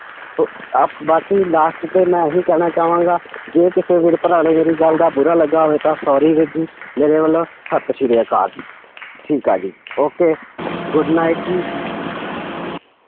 ਬਾਕੀ last ਤੇ ਮੈਂ ਇਹੀ ਕਹਿਣਾ ਚਾਵਾਂਗਾ ਜੇ ਕਿਸੇ ਵੀਰ ਭਰਾ ਨੂੰ ਮੇਰੀ ਗੱਲ ਦਾ ਬੁਰਾ ਲੱਗਾ ਹੋਵੇ ਤਾਂ sorry ਵੀਰ ਜੀ ਮੇਰੇ ਵੱਲੋਂ ਸਤਿ ਸ੍ਰੀ ਅਕਾਲ ਠੀਕ ਆ ਜੀ okay good night ਜੀ।